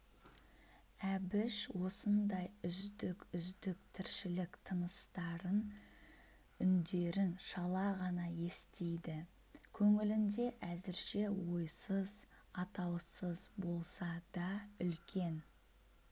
әбіш осындай үздік-үздік тіршілік тыныстарын үндерін шала ғана естиді көңілінде әзірше ойсыз атаусыз болса да үлкен